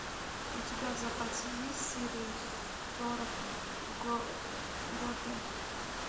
у тебя в запасе есть серия сорок готэм